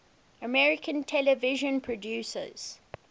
american television producers